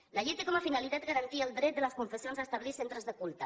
la llei té com a finalitat garantir el dret de les confessions a establir centres de culte